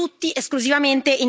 A voi fa comodo così.